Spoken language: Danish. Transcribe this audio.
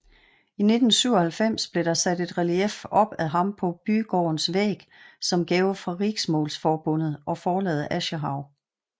I 1997 blev der sat et relief op af ham på bygårdens væg som gave fra Riksmålsforbundet og forlaget Aschehoug